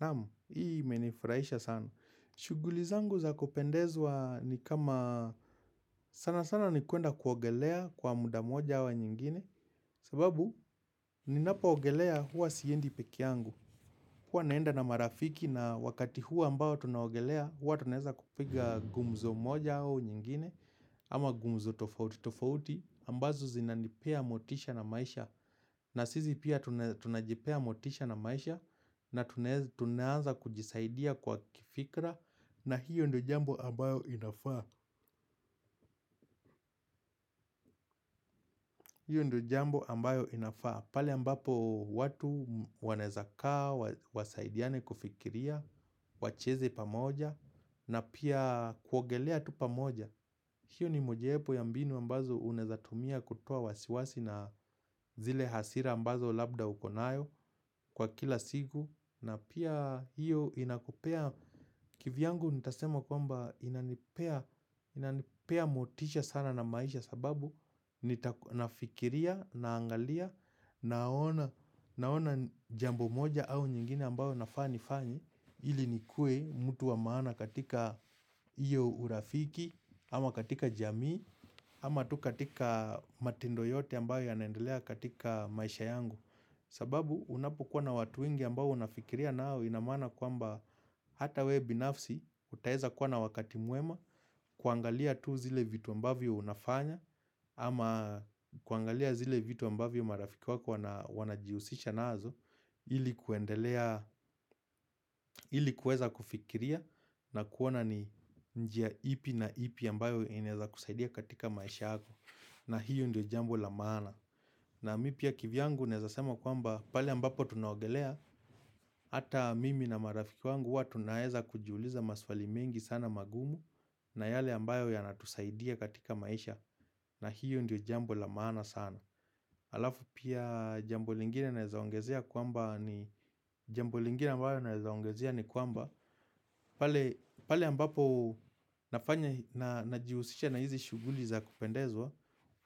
Naam, hii imenifurahisha sana. Shughuli zangu za kupendezwa ni kama sana sana ni kuenda kuogelea kwa muda moja ama nyingine. Sababu, ninapo ogelea huwa siendi pekee yangu. Huwa naenda na marafiki na wakati huo ambao tunaogelea, huwa tunaeza kupiga gumzo moja au nyingine. Ama gumzo tofauti tofauti, ambazo zinanipea motisha na maisha. Na sisi pia tunajipea motisha na maisha na tunaanza kujisaidia kwa kifikra na hiyo ndo jambo ambayo inafaa. Hiyo ndo jambo ambayo inafaa pale ambapo watu wanaweza kaa, wasaidiane kufikiria, wacheze pamoja na pia kuogelea tu pamoja hiyo ni mojaepo ya mbinu ambazo unawezatumia kutoa wasiwasi na zile hasira ambazo labda uko nayo kwa kila siku na pia hiyo inakupea kivyangu nitasema kwamba inanipea motisha sana na maisha sababu nita nafikiria, naangalia, naona jambo moja au nyingine ambayo nafaa nifanye ili ni kue mtu wa maana katika hiyo urafiki ama katika jamii ama tu katika matindo yote ambayo yanaendelea katika maisha yangu sababu unapokuwa na watu wengi ambao unafikiria nao inamaana kwamba hata we binafsi utaeza kuwa na wakati mwema kuangalia tu zile vitu ambavyo unafanya ama kuangalia zile vitu ambavyo marafiki wako wanajihusisha nazo ili kuendelea, ili kuweza kufikiria na kuona ni njia ipi na ipi ambayo inaeza kusaidia katika maisha yako na hiyo ndo jambo la maana na mii pia kivyangu naezasema kwamba pale ambapo tunaogelea Hata mimi na marafiki wangu huwa tunaeza kujiuliza maswali mingi sana magumu na yale ambayo yanatusaidia katika maisha na hiyo ndo jambo la maana sana alafu pia jambo lingine naeza ongezea kwamba ni jambo lingine ambayo naweza ongezea ni kwamba pale ambapo nafanya na jihusisha na hizi shughuli za kupendezwa